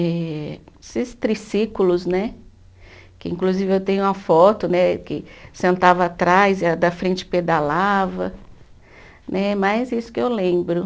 eh esses triciclos, né, que inclusive eu tenho uma foto, né, que sentava atrás e a da frente pedalava, né, mais isso que eu lembro.